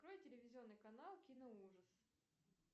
открой телевизионный канал киноужас